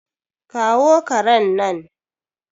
kawo karen nan!